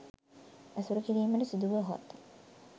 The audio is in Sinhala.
ඇසුරු කිරීමට සිදුවුවහොත්